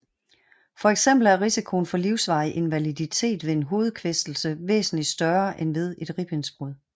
For eksempel er risikoen for livsvarig invaliditet ved en hovedkvæstelse væsentligt større end ved et ribbensbrud